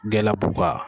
Glabu ka